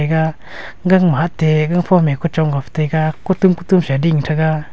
ega gangma hatte gangphom e kuchong got taiga kutum kutum sa ding thaga.